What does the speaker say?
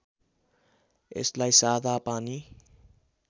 यसलाई सादा पानी